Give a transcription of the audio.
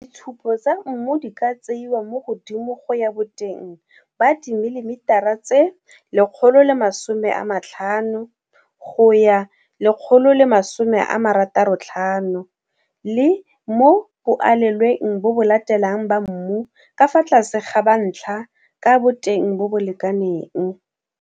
Ditshupo tsa mmu di ka tseiwa mo godimo go ya boteng ba dimilimetara tse 150 go ya 165 le mo boalelweng bo bo latelang ba mmu ka fa tlase ga ba ntlha ka boteng bo bo lekanang.